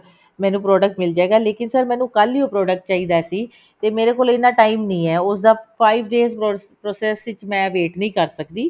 ਮੈਨੂੰ product ਮਿਲ ਜੇਗਾ ਲੇਕਿਨ sir ਮੈਨੂੰ ਕੱਲ ਹੀ ਉਹ product ਚਾਹੀਦਾ ਸੀ ਤੇਰੇ ਮੇਰੇ ਕੋਲ ਇੰਨਾ time ਨਹੀਂ ਹੈ ਉਸਦਾ five days process ਵਿੱਚ ਮੈਂ wait ਨਹੀਂ ਕਰ ਸਕਦੀ